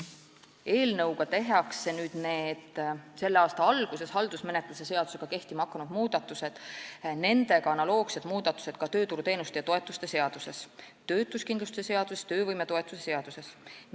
Eelnõuga tehakse selle aasta alguses haldusmenetluse seadusega kehtima hakanud muudatused, samuti nendega analoogsed muudatused ka tööturuteenuste ja -toetuste seaduses, töötuskindlustuse seaduses ning töövõimetoetuse seaduses.